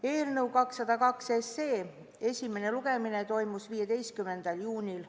Eelnõu 202 esimene lugemine toimus 15. juunil.